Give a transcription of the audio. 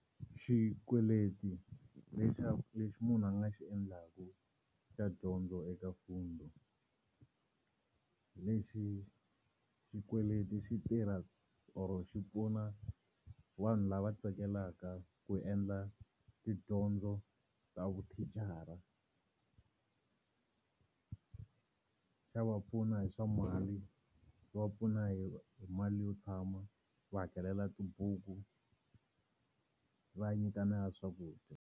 Xikweleti lexi munhu a nga xi endlaku xa dyondzo eka Fundi lexi xikweleti xi tirha or xi pfuna vanhu lava tsakelaka ku endla tidyondzo ta vuthicara xa va pfuna hi swa mali, xi va pfuna hi mali yo tshama, xi va hakelela tibuku xi va nyika na ya swakudya.